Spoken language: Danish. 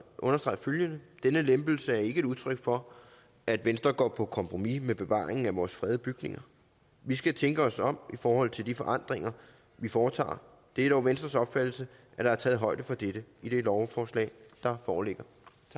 understrege følgende denne lempelse er ikke et udtryk for at venstre går på kompromis med bevaringen af vores fredede bygninger vi skal tænke os om i forhold til de forandringer vi foretager det er dog venstres opfattelse at der er taget højde for dette i det lovforslag der foreligger